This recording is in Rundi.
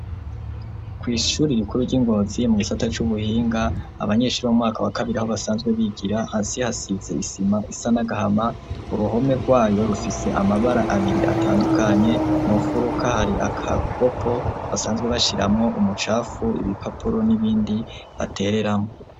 Kw' ishuri rikuru ry'iNgozi mu gisata c'ubuhinga abanyeshuri bo mwaka wa kabiri aho basanzwe bigira hasi hasize isima isa n'agahama uruhome rwayo rufise amabara abiri atandukanye, mu nfuruka hari akagopo basanzwe bashiramwo umucafu ibipapuro n'ibindi batereramwo.